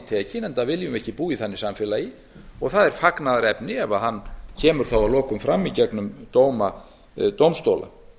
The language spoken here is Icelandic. tekinn enda viljum við ekki búa í þannig samfélagi og það er fagnaðarefni ef hann kemur þá að lokum fram í gegnum dóma dómstóla